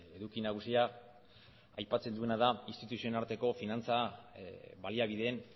eduki nagusia aipatzen duena da instituzioen arteko finantza baliabideen